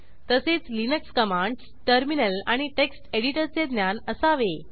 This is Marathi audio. तसेच लिनक्स कमांडस टर्मिनल आणि टेक्स्ट एडिटरचे ज्ञान असावे